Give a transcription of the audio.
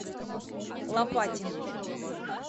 лопатин